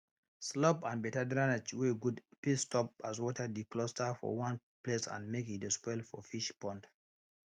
slope and better drainage wey good fit stop as water de cluster for one place and make e de spoil for fish pond